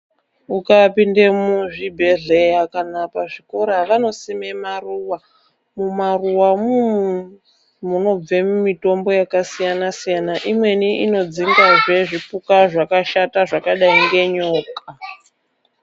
Ukapinde muzvibhedhlera kana pazvikora vanosime maruwa mumaruwamo munobve mitombo yakasiyana siyana imweni inodzingazve zvipuka zvakashata zvakadayi ngenyoka.